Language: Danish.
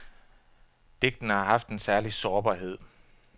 Digtene har haft en særlig sårbarhed.